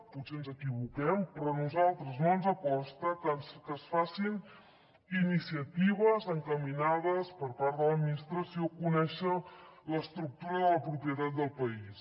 potser ens equivoquem però a nosaltres no ens consta que es facin iniciatives encaminades per part de l’administració a conèixer l’estructura de la propietat del país